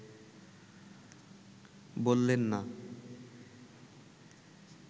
বললেন না